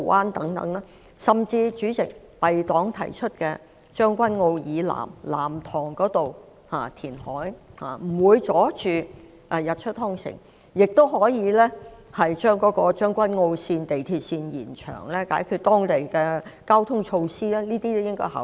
代理主席，填海的地點甚至可以是敝黨提出位於將軍澳以南的藍塘，該處既不會遮擋日出康城，亦可透過延長港鐵將軍澳線，解決該區的交通問題，上述建議均值得考慮。